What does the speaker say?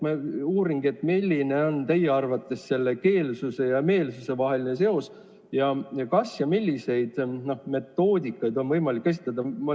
Ma uuringi, et milline on teie arvates keelsuse ja meelsuse vaheline seos ning kas ja milliseid metoodikaid on võimalik kasutada.